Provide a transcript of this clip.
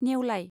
नेवलाइ